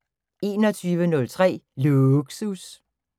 21:03: Lågsus